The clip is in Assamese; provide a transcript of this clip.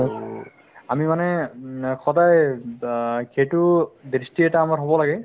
to আমি মানে উম সদায় ব সেইটো দৃষ্টি এটা আমাৰ হ'ব লাগে